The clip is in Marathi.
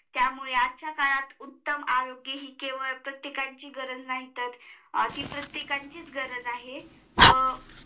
त्यामुळे आजच्या काळात उत्तम आरोग्य हि केवळ प्रत्येकाची गरज नाही तर ती प्रत्येकाचीच गरज आहे